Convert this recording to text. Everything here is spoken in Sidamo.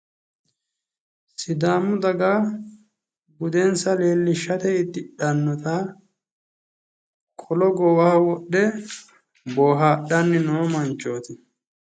Sidaamu daga budensa leelishate uddidhannota qolo goowaho wodhe boohadhanni noo manchoti.